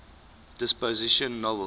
dystopian novels